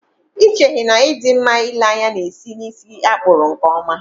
Ị cheghị na ị dị mma ịle anya na-esi n'ísí a kpụrụ nkeọma?